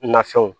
Nafɛnw